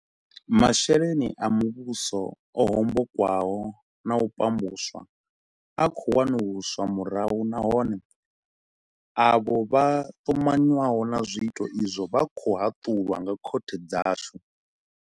Masheleni a muvhuso o hombokwaho na u pambuswa a khou wanuluswa murahu nahone, avho vha ṱumanywaho na zwiito izwo vha khou haṱulwa nga khothe dzashu.